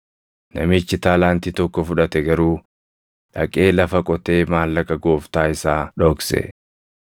Namichi taalaantii tokko fudhate garuu dhaqee lafa qotee maallaqa gooftaa isaa dhokse.